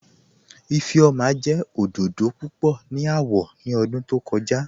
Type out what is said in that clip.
Ifẹ́ọma jẹ́ ọdọdọ púpọ̀ ni awọ̀ ni ọ̀dún tó kọ̀ja